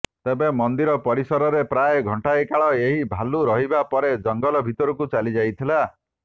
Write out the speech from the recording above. ତେବେ ମନ୍ଦିର ପରିସରରେ ପ୍ରାୟ ଘଣ୍ଟାଏ କାଳ ଏହି ଭାଲୁ ରହିବା ପରେ ଜଙ୍ଗଲ ଭିତରକୁ ଚାଲିଯାଇଥିଲା